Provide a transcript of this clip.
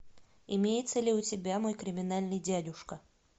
имеется ли у тебя мой криминальный дядюшка